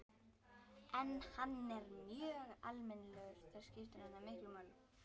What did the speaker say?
En hann er mjög almennilegur, það skiptir hana miklu máli.